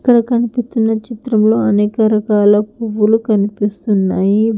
ఇక్కడ కనిపిస్తున్న చిత్రం లో అనేక రకాల పువ్వులు కనిపిస్తున్నాయి.